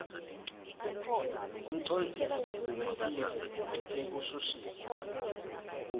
umcondzisi wesive wetekushushisa